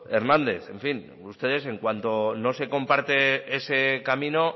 hernández en fin a ustedes en cuanto no se comparte ese camino